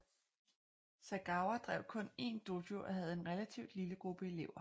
Sagawa drev kun én dojo og havde en relativt lille gruppe elever